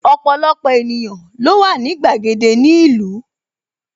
Ọpọlọpọ ènìyàn ló wà ní gbàgede ni ìlú